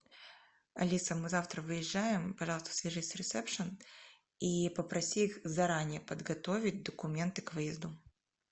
алиса мы завтра выезжаем пожалуйста свяжись с ресепшн и попроси их заранее подготовить документы к выезду